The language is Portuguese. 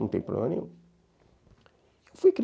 Não tem problema nenhum. Fui